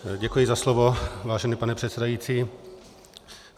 Děkuji za slovo, vážený pane předsedající.